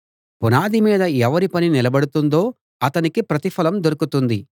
పునాది మీద ఎవరి పని నిలబడుతుందో అతనికి ప్రతిఫలం దొరుకుతుంది